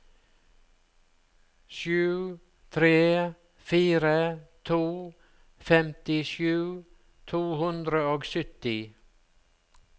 sju tre fire to femtisju to hundre og sytti